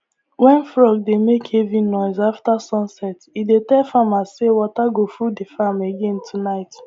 when frog dey make heavy noise after sun set e dey tell farmers say water go full the farm again tonight